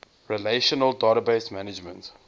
relational database management